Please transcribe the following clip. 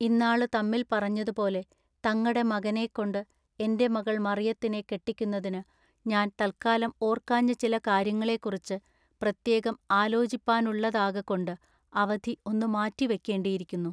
ഇന്നാളു തമ്മിൽ പറഞ്ഞതുപോലെ തങ്ങടെ മകനെ കൊണ്ടു എന്റെ മകൾ മറയത്തിനെ കെട്ടിക്കുന്നതിനു ഞാൻ തല്ക്കാലം ഓർക്കാഞ്ഞ ചില കാര്യങ്ങളെക്കുറിച്ച് പ്രത്യേകം ആലോചിപ്പാനുള്ളതാകകൊണ്ടു അവധി ഒന്നു മാറ്റി വയ്ക്കെണ്ടിയിരിക്കുന്നു.